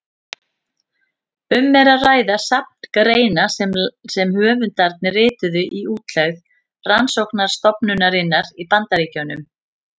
Um er að ræða safn greina sem höfundarnir rituðu í útlegð rannsóknarstofnunarinnar í Bandaríkjunum.